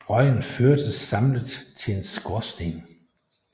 Røgen førtes samlet til en skorsten